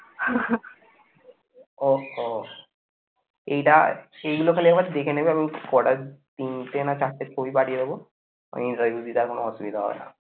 ওহ এইটা সেইগুলো খালি একবার দেখে নেবে আমি একটু কটা তিনটি না চারটে ছবি পাঠিয়ে দেবো কোন অসুবিধা হবে না